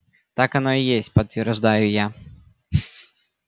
так оно и есть подтверждаю я